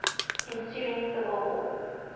ensuing civil war